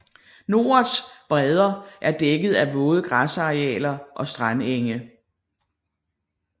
Norets bredder er dækket af våde græsarealer og strandenge